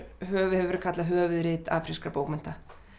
hefur verið kallað höfuðrit afrískra bókmennta